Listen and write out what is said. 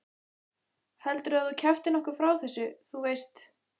Heldurðu að þú kjaftir nokkuð frá þessu. þú veist?